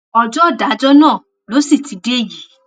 ọjọ ìdájọ náà ló sì ti dé yìí